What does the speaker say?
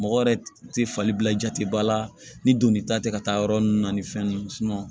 Mɔgɔ yɛrɛ tɛ fali bila jateba la ni donni ta tɛ ka taa yɔrɔ ninnu na ni fɛn ninnu